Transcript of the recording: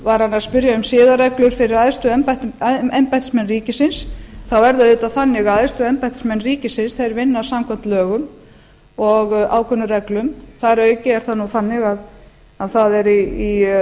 var hann að spyrja um siðareglur fyrir æðstu embættismenn ríkisins þá er það auðvitað þannig að æðstu embættismenn ríkisins vinna samkvæmt lögum og ákvörðunarreglum þar að auki er það nú þannig að það er í